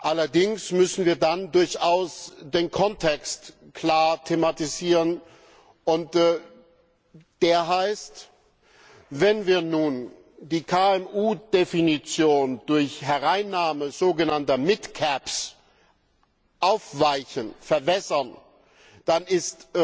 Allerdings müssen wir dann durchaus den Kontext klar thematisieren, und der heißt Wenn wir nun die KMU Definition durch Hereinnahme sogenannter aufweichen, verwässern, dann ist